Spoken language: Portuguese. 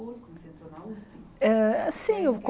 Curso que você fez na usp Eh sim o